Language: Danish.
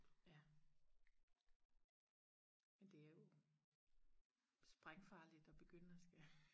ja men det er jo sprængfarligt og begynde og skal